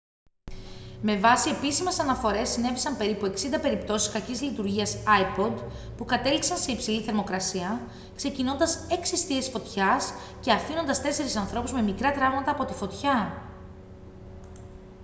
με βάση επίσημες αναφορές συνέβησαν περίπου 60 περιπτώσεις κακής λειτουργίας ipod που κατέληξαν σε υψηλή θερμοκρασία ξεκινώντας έξι εστίες φωτιάς και αφήνοντας τέσσερις ανθρώπους με μικρά τραύματα από τη φωτιά